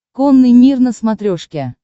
конный мир на смотрешке